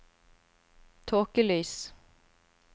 tåkelys